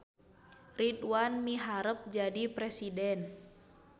Ridwan miharep jadi presiden